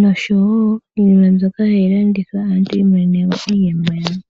nosho wo iinima mbyoka hayi landithwa aantu yi imonene mo iiyemo yawo.